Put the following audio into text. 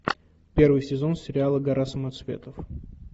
первый сезон сериала гора самоцветов